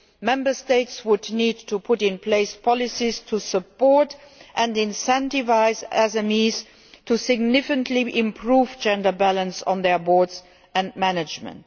Member States would need to put in place policies to support and incentivise SMEs to significantly improve gender balance on their boards and management.